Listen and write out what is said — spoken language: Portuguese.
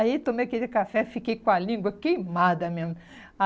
Aí tomei aquele café, fiquei com a língua queimada mesmo.